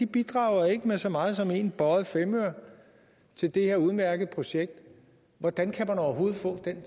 bidrager ikke med så meget som en bøjet femøre til det her udmærkede projekt hvordan kan man overhovedet få den